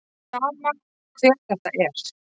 Sama hver þetta er.